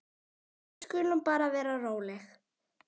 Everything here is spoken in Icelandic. Við skulum bara vera róleg.